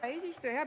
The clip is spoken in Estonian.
Hea eesistuja!